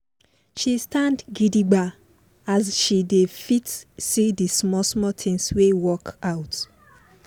she stand gidigba as she dey fit see d small small tins wey work out.